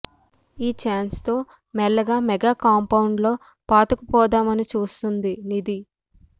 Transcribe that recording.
ఈ ఛాన్స్ తో మెల్లగా మెగా కాంపౌండ్ లో పాతుకుపోదామని చూస్తోంది నిధి